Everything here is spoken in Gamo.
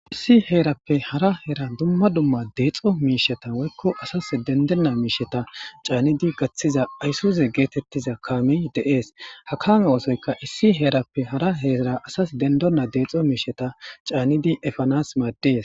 Issi herappe hara heran dumma dumma dexo mishata woykko asas dendena mishata canid gathiza aysuzw getetiza kamey de'es ha kame othoyka issi herappe hara Hera asas dendena dexo mishata canid epanas mades.